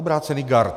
Obrácený gard.